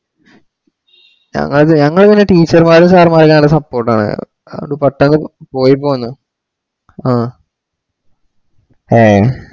ഞങ്ങളത് ഞങ്ങള് പിന്നെ teacher മാരും sir മാരും ഞങ്ങടെ support ആണ് അത് പെട്ടന്ന് പോയി പോന്ന് അ ഏ